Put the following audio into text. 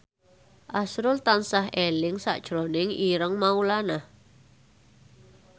azrul tansah eling sakjroning Ireng Maulana